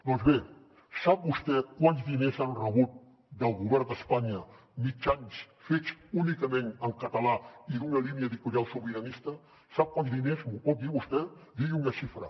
doncs bé sap vostè quants diners han rebut del govern d’espanya mitjans fets únicament en català i d’una línia editorial sobiranista sap quants diners m’ho pot dir vostè digui una xifra